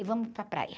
E vamos para a praia.